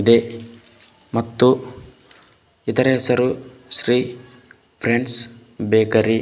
ಇದೆ ಮತ್ತು ಇದರ ಹೆಸರು ಶ್ರೀ ಫ್ರೆಂಡ್ಸ್ ಬೇಕರಿ .